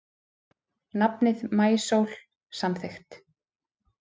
Nafnið Maísól samþykkt